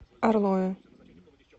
орлове